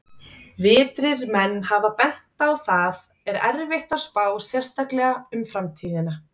Vitrir menn hafa bent á að það er erfitt að spá, sérstaklega um framtíðina!